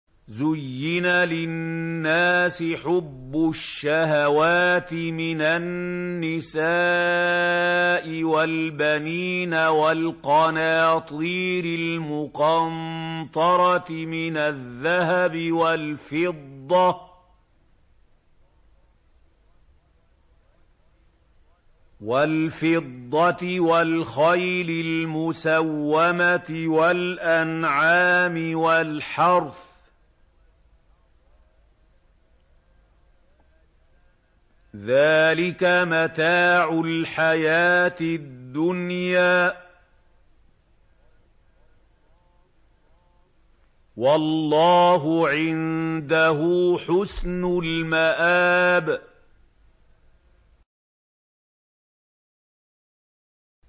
زُيِّنَ لِلنَّاسِ حُبُّ الشَّهَوَاتِ مِنَ النِّسَاءِ وَالْبَنِينَ وَالْقَنَاطِيرِ الْمُقَنطَرَةِ مِنَ الذَّهَبِ وَالْفِضَّةِ وَالْخَيْلِ الْمُسَوَّمَةِ وَالْأَنْعَامِ وَالْحَرْثِ ۗ ذَٰلِكَ مَتَاعُ الْحَيَاةِ الدُّنْيَا ۖ وَاللَّهُ عِندَهُ حُسْنُ الْمَآبِ